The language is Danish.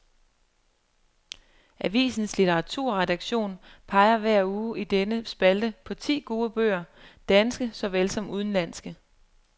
Avisens litteraturredaktion peger hver uge i denne spalte på ti gode bøger, danske såvel som udenlandske.